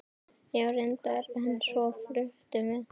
Já, reyndar, en svo fluttum við.